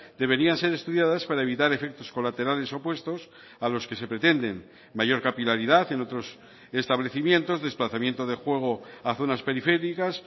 deberían ser estudiadas para evitar efectos colaterales opuestos a los que se pretenden mayor capilaridad en otros establecimientos desplazamiento de juego a zonas periféricas